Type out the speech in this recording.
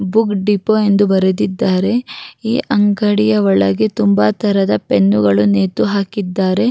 ಬುಗ್ಡಿಪೋ ಎಂದು ಬರೆದಿದ್ದಾರೆ ಈ ಅಂಗಡಿಯ ಒಳಗೆ ತುಂಬಾ ತರದ ಪೆನ್ನುಗಳನ್ನು ನೇತುಹಾಕಿದಾರೆ.